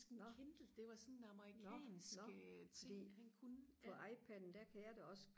nå nå nå fordi på IPadden der kan jeg da også